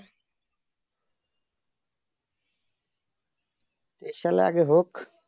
এই সালে আগে হোক